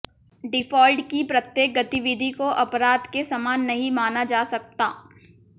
default की प्रत्येक गतिविधि को अपराध के समान नहीं माना जा सकता